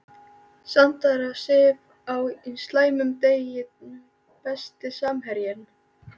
Sandra Sif á slæmum degi Besti samherjinn?